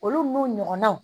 Olu n'u ɲɔgɔnnaw